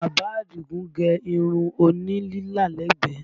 Bàbá Àdìgún gẹ irun òní lílà lẹ́gbẹ̀ẹ́